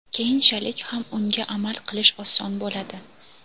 keyinchalik ham unga amal qilish oson bo‘ladi.